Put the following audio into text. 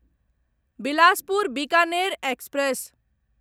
Bilaspur Bikaner express